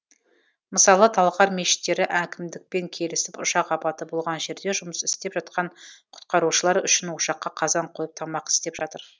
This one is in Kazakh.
мысалы талғар мешіттері әкімдікпен келісіп ұшақ апаты болған жерде жұмыс істеп жатқан құтқарушылар үшін ошаққа қазан қойып тамақ істеп жатыр